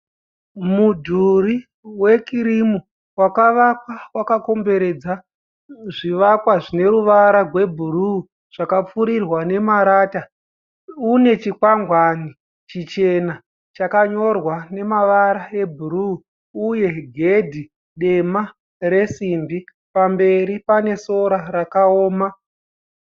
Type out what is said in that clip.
Mudhuri wekirimu wakavakwa wakakomberedza zvivakwa zvine ruvara gwebhuruu zvakapfurirwa nemarata. Une chikwangwani chichena chakanyorwa nemavara ebhuruu uye gedhi dema resimbi. Pamberi pane sora rakaoma.